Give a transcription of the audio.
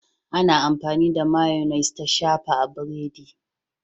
Ana amfani da Mayonnaise ta shafa a burodi.